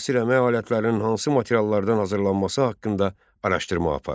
Müasir əmək alətlərinin hansı materiallardan hazırlanması haqqında araşdırma apar.